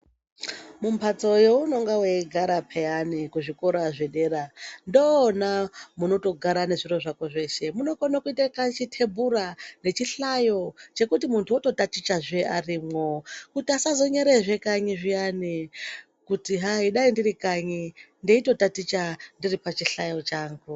Mumphatso yaunenge wegara peyani kuzvikora zvedera ndoona munotogara nezviro zvako zveshe. Munokona kuita kachitebhura nechihlayo chekuti muntu ototaticha arimwo. Kuti asazonyerezve kanyi zviyani kuti dai ndiri kanyi ndeitotaticha ndiri pachihlayo changu.